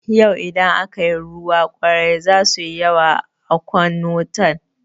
Yau idan aka yi ruwa ƙwari za suyi yawa a kwan wutan.